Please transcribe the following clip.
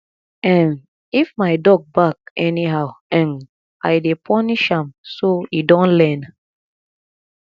um if my dog bark anyhow um i dey punish am so e don learn